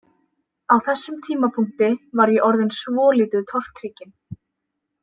Á þessum tímapunkti var ég orðinn svolítið tortrygginn.